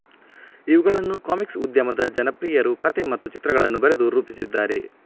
ಇವುಗಳನ್ನು ಕಾಮಿಕ್ಸ್ ಉದ್ಯಮದ ಜನಪ್ರಿಯರು ಕತೆ ಮತ್ತು ಚಿತ್ರಗಳನ್ನು ಬರೆದು ರೂಪಿಸಿದ್ದಾರೆ